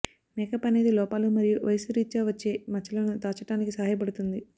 makeup అనేది లోపాలు మరియు వయస్సు రిత్యా వచ్చే మచ్చలను దాచటానికి సహాయపడుతుంది